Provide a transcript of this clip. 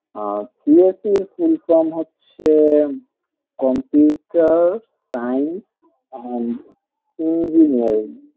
উহ CSE এর full form হচ্ছে computer science and engineering